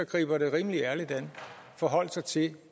griber det rimelig ærligt an forholde sig til at